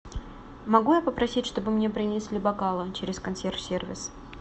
могу я попросить чтобы мне принесли бокалы через консьерж сервис